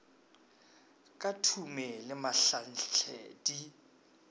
ka thume le mahlanhle di